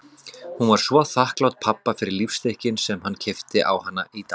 Hún var svo þakklát pabba fyrir lífstykkin sem hann keypti á hana í